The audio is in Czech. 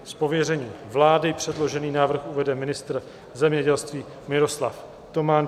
Z pověření vlády předložený návrh uvede ministr zemědělství Miroslav Toman.